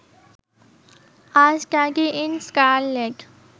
a study in scarlet